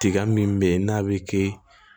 Tiga min bɛ yen n'a bɛ kɛ